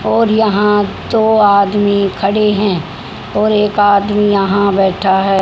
और यहां दो आदमी खड़े हैं और एक आदमी यहां बैठा है।